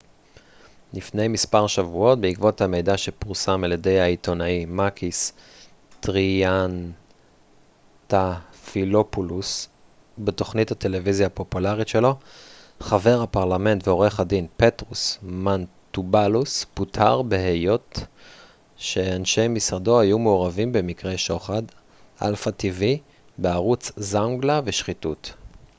"לפני מספר שבועות בעקבות המידע שפורסם על ידי העיתונאי מאקיס טריאנטאפילופולוס בתוכנית הטלוויזיה הפופולרית שלו "zoungla" בערוץ alpha tv חבר הפרלמנט ועורך הדין פטרוס מנטובאלוס פוטר בהיות שאנשי משרדו היו מעורבים במקרי שוחד ושחיתות.